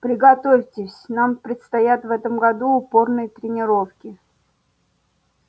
приготовьтесь нам предстоят в этом году упорные тренировки